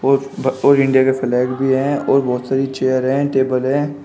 और इंडिया के फ्लैग भी हैं और बहुत सारी चेयर हैं टेबल हैं।